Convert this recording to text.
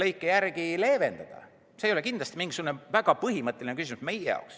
See ei ole meie jaoks kindlasti mingisugune väga põhimõtteline küsimus.